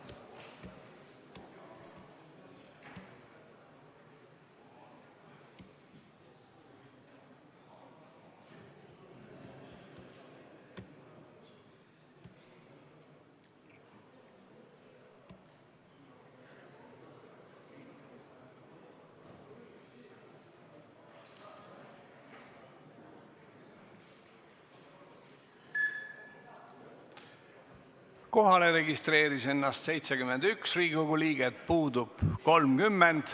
Kohaloleku kontroll Kohalolijaks registreeris ennast 71 Riigikogu liiget, puudub 30.